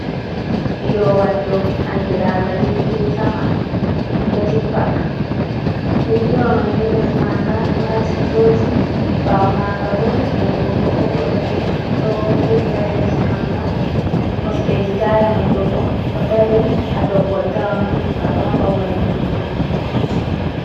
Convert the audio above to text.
Piirowal dow anndiraanga jirgin sama, ɗo jippa. Jirgiwa may ni les maanga ɗo haski tooci, ɓaawo maanga bo geene ɓokko ɓokko, ɗo fuɗi haa les maanga. Kosɗeeji taaya may do bo, ɗo dari haa dow koltawa may, nga ɗo haɓa waylutuggo.